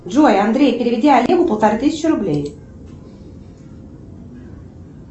джой андрей переведи олегу полторы тысячи рублей